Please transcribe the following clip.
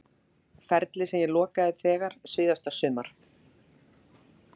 Ferli sem ég lokaði þegar síðasta sumar?